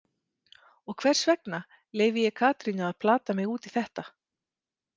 Og hvers vegna leyfi ég Katrínu að plata mig út í þetta?